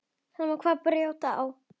Sama hvað bjátaði á.